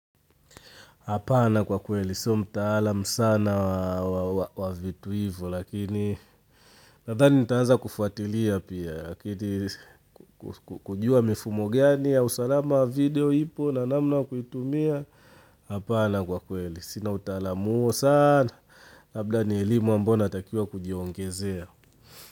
Hapana kwa kweli, so mtaalam sana wa vitu hivyo lakini nadhani nitaeza kufuatilia pia kujua mifumo gani ya usalama video ipo na namna kuitumia Hapana kwa kweli, sina utaalamu huo sana labda ni elimu ambao natakiwa kujiongezea.